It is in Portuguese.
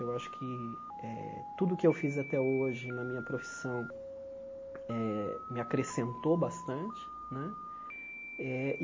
Eu acho que eh tudo o que eu fiz até hoje na minha profissão eh me acrescentou bastante né. Eh e